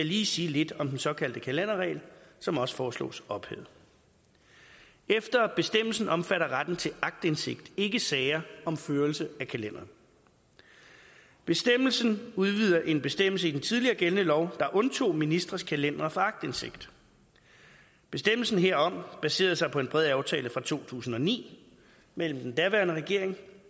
lige sige lidt om den såkaldte kalenderregel som også foreslås ophævet efter bestemmelsen omfatter retten til aktindsigt ikke sager om førelse af kalenderen bestemmelsen udvider en bestemmelse i den tidligere gældende lov der undtog ministres kalendere for aktindsigt bestemmelsen herom baserede sig på en bred aftale fra to tusind og ni mellem den daværende regering